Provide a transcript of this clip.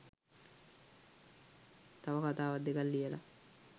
තව කතාවක් දෙකක් ලියලා